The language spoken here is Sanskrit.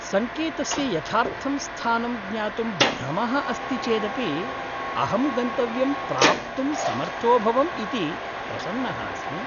सङ्केतस्य यथार्थं स्थानं ज्ञातुं भ्रमः अस्ति चेदपि, अहं गन्तव्यं प्राप्तुं समर्थोऽभवम् इति प्रसन्नः अस्मि।